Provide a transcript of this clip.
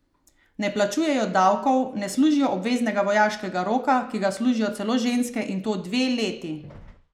Ne plačujejo davkov, ne služijo obveznega vojaškega roka, ki ga služijo celo ženske, in to dve leti!